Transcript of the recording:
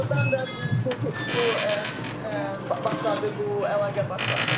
Ordanda bu bu bu başladı, bu əlaqə başladı.